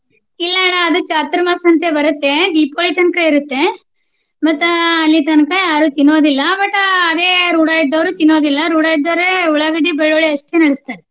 ಇಲ್ಲ ಅಣ್ಣ ಅದು ಚಾತುರ್ಮಾಸ ಅಂತ ಹೇಳಿ ಬರುತ್ತೆ ದೀಪಾವಳಿ ತನಕಾ ಇರುತ್ತೆ. ಮತ್ತ ಅಲ್ಲಿ ತನಕ ಯಾರು ತಿನ್ನೋದಿಲ್ಲಾ but ಅದೇ ರುಡಾ ಇದ್ದೋವ್ರು ತಿನ್ನೋದಿಲ್ಲಾ. ರುಡಾ ಇದ್ದೋವ್ರ ಉಳ್ಳಾಗಡ್ಡಿ, ಬೆಳ್ಳುಳ್ಳಿ ಅಷ್ಟೇನ ನಡಸ್ತಾರೆ.